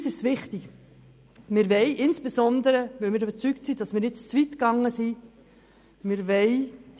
Für uns ist es wichtig, diese Teilrevision dem Volk zu unterbreiten, insbesondere weil wir überzeugt sind, dass wir jetzt zu weit gegangen sind.